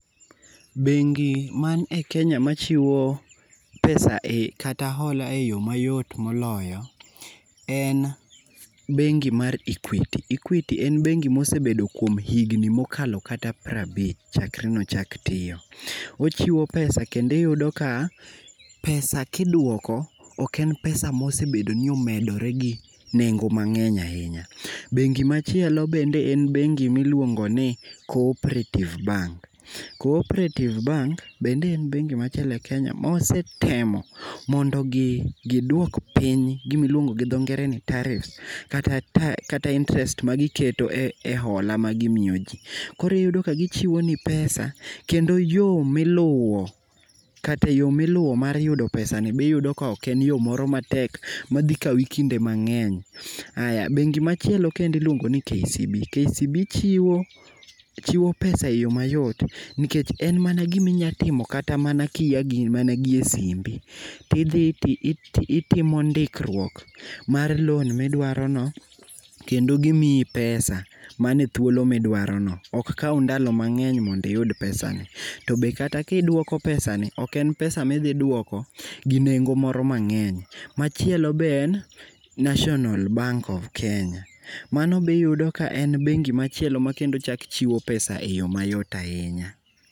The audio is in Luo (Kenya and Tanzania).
Bengi man e Kenya machiwo pesa kata hola e yo mayot moloyo en bengi mar Equity. Equity en bengi mosebedo kuom higni mokalo kata prabich chakre nochakl tiyo, ochiwo pesa kendo iyudo ka pesa kiduoko ok en pesa mosebedo ni omedore gi nengo mang'eny ahinya. Bengi machielo bende en bengi miluongoni Cooperative Bank. Cooperative bank bende en bengi machielo e Kenya mosetemo mondo gidwok piny gimiluongo gi dho ngere ni taarifs kata interest magiketo e hola magimiyo ji, koro iyudomka gichiwoni pesa kendo yo miluwo kata yo miluwo mar yudo pesani biyudo ka ok en yo moro matek madhikawi kinde mang'eny. Aya bengi machielo kendo iluongo ni KCB. KCB chiwo pesa e yo mayot nikech en mana giminya timo kata mana kia gimana e simbi tidhi ti itimo ndikruok mar loan midwarono kendo gimiyi pesa manithuolo midwarono ok kaw thuolo mang'eny mondiyud pesani. To be kata kiduoko pesani ok en pesa midhiduoko gi nengo moro mang'eny. Machielo be en National bank of Kenya, mano biyudo ka en bengi machielo makendo chak chiwo pesa e yo mayot ahinya.